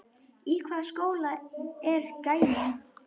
Í hvaða skóla er gæinn?